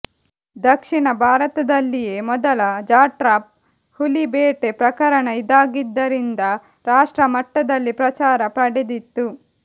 ದಕ್ಷಿಣ ಭಾರತದಲ್ಲಿಯೇ ಮೊದಲ ಜಾಟ್ರಾಪ್ ಹುಲಿಬೇಟೆ ಪ್ರಕರಣ ಇದಾಗಿದ್ದರಿಂದ ರಾಷ್ಟ್ರಮಟ್ಟದಲ್ಲಿ ಪ್ರಚಾರ ಪಡೆದಿತ್ತು